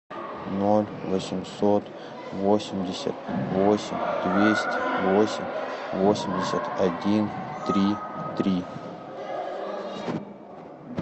ноль восемьсот восемьдесят восемь двести восемь восемьдесят один три три